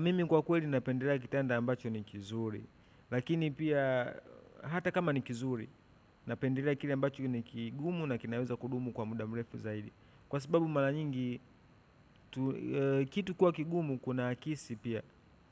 Mimi kwa kweli napendelea kitanda ambacho ni kizuri. Lakini pia hata kama ni kizuri napendelea kile ambacho ni kigumu na kinaweza kudumu kwa muda mrefu zaidi. Kwa sababu mara nyingi kitu kuwa kigumu kuna kesi pia.